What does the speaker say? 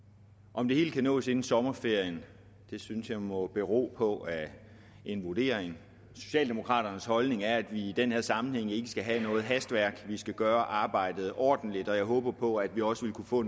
om det hele kan nås inden sommerferien synes jeg må bero på en vurdering socialdemokraternes holdning er at vi i den her sammenhæng ikke skal have noget hastværk vi skal gøre arbejdet ordentligt og jeg håber på at vi også vil kunne få